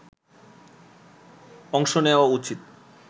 অংশ নেয়া উচিত